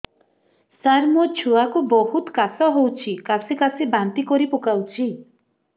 ସାର ମୋ ଛୁଆ କୁ ବହୁତ କାଶ ହଉଛି କାସି କାସି ବାନ୍ତି କରି ପକାଉଛି